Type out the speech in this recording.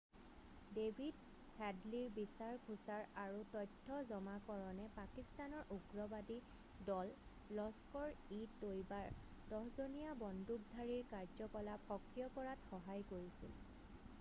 David হেডলিৰ বিচাৰ খোচাৰ আৰু তথ্য জমাকৰণে পাকিস্তানৰ উগ্ৰবাদী দল লস্কৰ-ই-তৈবাৰ 10 জনীয়া বন্দুকধাৰীৰ কাৰ্যকলাপ সক্ৰিয় কৰাত সহায় কৰিছিল